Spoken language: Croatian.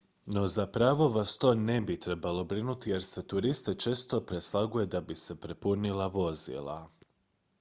no zapravo vas to ne bi trebalo brinuti jer se turiste često preslaguje da bi se popunila vozila